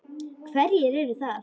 Hverjir eru það?